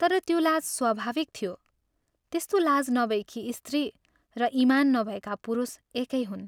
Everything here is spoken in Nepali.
तर त्यो लाज स्वाभाविक थियो, त्यस्तो लाज नभएकी स्त्री र इमान नभएका पुरुष एकै हुन्।